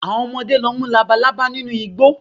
Àwọn ọmọdé lọ mú Labalábá nínú igbó